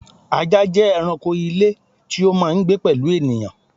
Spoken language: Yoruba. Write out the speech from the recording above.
Ajá jẹ́ ẹranko ilé tí ó máà ń gbé pẹ̀lú ènìyàn